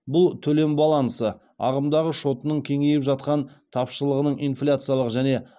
бұл төлем балансы ағымдағы шотының кеңейіп жатқан тапшылығының инфляциялық және